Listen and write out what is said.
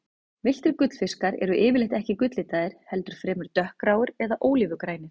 Villtir gullfiskar eru yfirleitt ekki gulllitaðir, heldur fremur dökkgráir eða ólífugrænir.